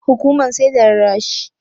Hukuman sai da rarrashi.